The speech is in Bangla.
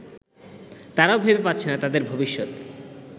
তারাও ভেবে পাচ্ছে না তাদের ভবিষ্যৎ